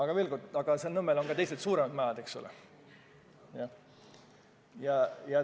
Samas jah, seal Nõmmel on ka teised, suuremad majad.